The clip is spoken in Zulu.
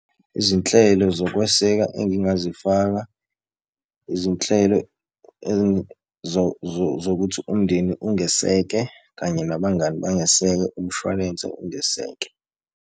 Izinhlelo zokweseka engingazifaka, izinhlelo zokuthi umndeni ungeseke kanye nabangani bangeseke, umshwalense ungeseke.